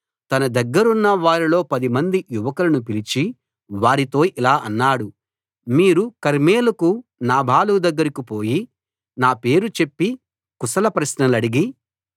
తన దగ్గరున్న వారిలో పదిమంది యువకులను పిలిచి వారితో ఇలా అన్నాడు మీరు కర్మెలుకు నాబాలు దగ్గరికి పోయి నా పేరు చెప్పి కుశల ప్రశ్నలడిగి